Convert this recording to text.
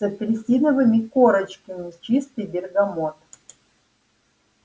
с апельсиновыми корочками чистый бергамот